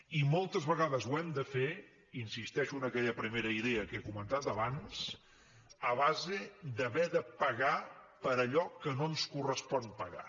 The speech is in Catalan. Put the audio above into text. i moltes vegades ho hem de fer insisteixo en aquella primera idea que he comentat abans a base d’haver de pagar per allò que no ens correspon pagar